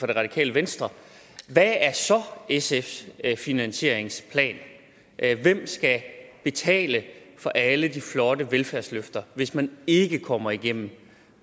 det radikale venstre hvad er så sfs finansieringsplan hvem skal betale for alle de flotte velfærdsløfter hvis man ikke kommer igennem